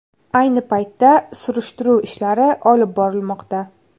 Ayni paytda surishtiruv ishlari olib borilmoqda.